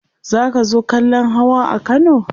zaka zo kallan Hawa a Kano?